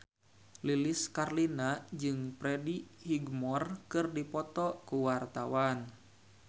Lilis Karlina jeung Freddie Highmore keur dipoto ku wartawan